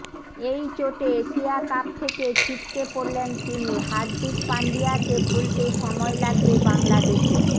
এই চোটে Asia cup থেকে ছিটকে পড়লেন তিনি হার্দিক পান্ডিয়াকে ভুলতে সময় লাগবে বাংলাদেশের